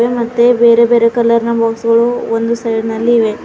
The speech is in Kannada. ಮತ್ತೆ ಬೇರೆ ಬೇರೆ ಕಲರ್ ನ ಬಾಕ್ಸ್ ಗಳು ಒಂದು ಸೈಡ್ ನಲ್ಲಿ ಇವೆ.